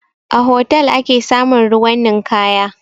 A hotal ake samun ruwan ninkaya